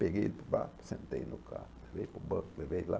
Peguei ele para o barco, sentei no carro, levei para o banco, levei lá.